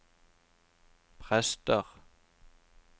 prester